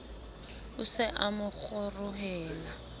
o se a mo kgorohela